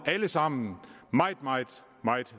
alle sammen meget meget